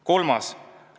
Kolmandaks.